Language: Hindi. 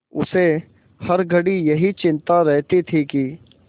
उसे हर घड़ी यही चिंता रहती थी कि